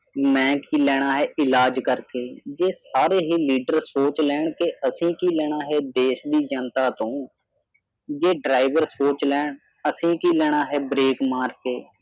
ਮੈਂ ਕੀ ਲੈਣਾ ਹੈ ਇਲਾਜ ਕਰਕੇ ਜੇ ਸਾਰੇ ਹੀ leader ਸੋਚ ਲੈਣ ਕੇ ਅਸੀਂ ਕੀ ਲੈਣਾ ਹੈ ਦੇਸ਼ ਦੀ ਜਨਤਾ ਤੋਂ ਜੇ driver ਸੋਚ ਲੈਣ ਅਸੀਂ ਕੀ ਲੈਣਾ ਹੈ break ਮਾਰ ਕੇ